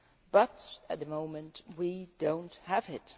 But at the moment we do not have it.